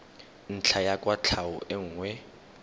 ntlha ya kwatlhao e nngwe